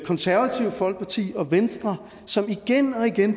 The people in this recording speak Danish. konservative folkeparti og venstre som igen og igen